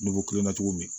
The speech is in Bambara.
N'i ko kilenna togo min